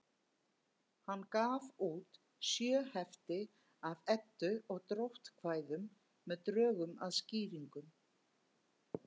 Hann gaf út sjö hefti af Eddu- og dróttkvæðum með drögum að skýringum.